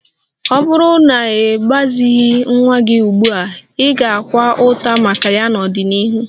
Ọ bụrụ na ị gbazighị nwa gị ugbu a, ị ga-akwa ụta maka ya n'ọdịnihu